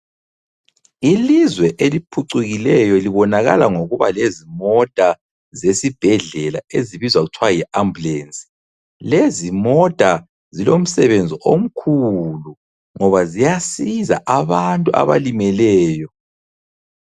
Ilizwe eliphucukileyo libonakala ngokuba lezimota zesibhedlela ezibizwa kuthiwa yi ambulance. Lezi mota zilomsebenzi omkhulu ngoba ziyasiza abantu abalimeleyo.